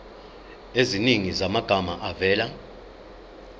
eziningi zamagama avela